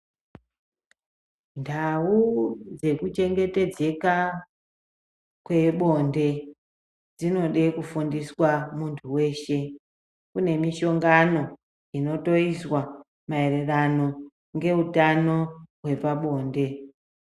Ndhawu dzekuchengetedzeka kwebonde dzinode kufundiswa muntu weshe. Kunemishongano inotoyiswa mayererano ngehutano wepabonde.